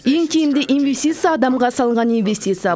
ең тиімді инвестиция адамға салынған инвестиция